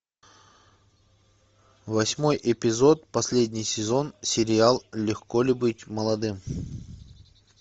восьмой эпизод последний сезон сериал легко ли быть молодым